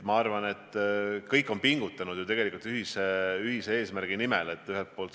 Ma arvan, et kõik on pingutanud tegelikult ühise eesmärgi nimel.